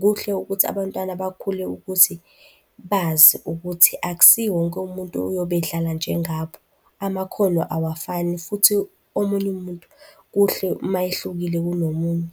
Kuhle ukuthi abantwana bakhule ukuthi bazi ukuthi akusiwo wonke umuntu oyobe edlala njengabo, amakhono awafani futhi omunye umuntu kuhle uma ehlukile kunomunye.